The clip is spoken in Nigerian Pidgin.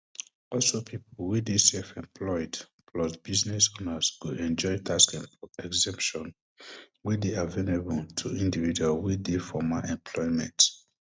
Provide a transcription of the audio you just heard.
also pipo wey dey self employed plus business owners go enjoy tax em exemptions wey dey avenable to individuals wey dey formal employment